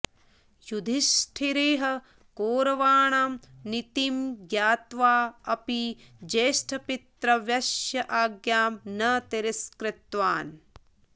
युधिष्ठिरः कौरवाणां नीतिं ज्ञात्वा अपि ज्येष्टपितृव्यस्य आज्ञां न तिरस्कृतवान्